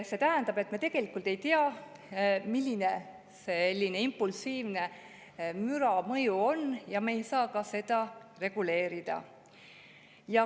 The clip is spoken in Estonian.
See tähendab, et me tegelikult ei tea, milline sellise impulsiivne müra mõju on, ja me ei saa seda reguleerida.